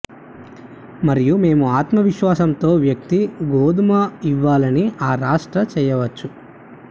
మరియు మేము ఆత్మవిశ్వాసంతో వ్యక్తి గోధుమ ఇవ్వాలని ఆ రాష్ట్ర చేయవచ్చు